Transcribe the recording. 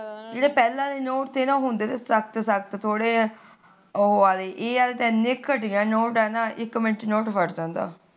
ਜਿਹੜੇ ਪਹਿਲਾ ਦੇ ਨੋਟ ਤੇ ਨਾ ਉਹ ਹੁੰਦੇ ਤੇ ਸਖਤ ਸਖਤ ਉਹ ਆਲੇ ਇਹ ਆਲੇ ਤਾ ਇੰਨੇ ਘਟੀਆਂ ਨੋਟ ਆ ਨਾ ਇੱਕ ਮਿੰਟ ਚ ਨੋਟ ਫਟ ਜਾਂਦਾ